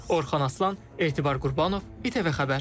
Orxan Aslan, Etibar Qurbanov, ITV Xəbər.